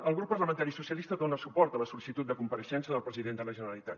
el grup parlamentari socialistes dona suport a la sol·licitud de compareixença del president de la generalitat